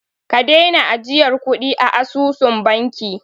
Ka daina ajiyar kuɗi a asusun banki!